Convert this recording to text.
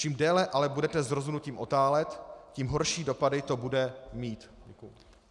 Čím déle ale budete s rozhodnutím otálet, tím horší dopady to bude mít.